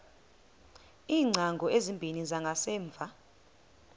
iingcango ezimbini zangasemva